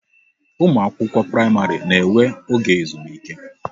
Ụmụ akwụkwọ praịmarị na enwe oge ezumike